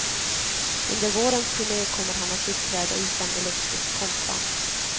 Under vårens turne kommer han att uppträda utan elektriskt kompband.